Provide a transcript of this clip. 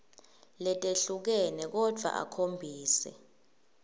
letehlukene kodvwa akhombise